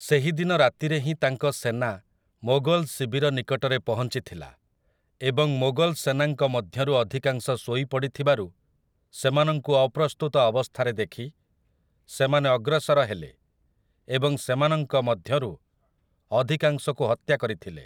ସେହିଦିନ ରାତିରେ ହିଁ ତାଙ୍କ ସେନା ମୋଗଲ ଶିବିର ନିକଟରେ ପହଞ୍ଚିଥିଲା ଏବଂ ମୋଗଲ ସେନାଙ୍କ ମଧ୍ୟରୁ ଅଧିକାଂଶ ଶୋଇ ପଡ଼ିଥିବାରୁ ସେମାନଙ୍କୁ ଅପ୍ରସ୍ତୁତ ଅବସ୍ଥାରେ ଦେଖି ସେମାନେ ଅଗ୍ରସର ହେଲେ ଏବଂ ସେମାନଙ୍କ ମଧ୍ୟରୁ ଅଧିକାଂଶଙ୍କୁ ହତ୍ୟା କରିଥିଲେ ।